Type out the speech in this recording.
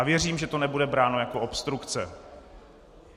A věřím, že to nebude bráno jako obstrukce.